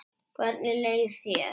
Hvernig leið þér?